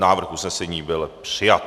Návrh usnesení byl přijat.